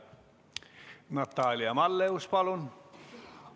Natalia Malleus, palun!